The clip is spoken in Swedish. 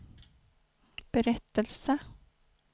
berättelse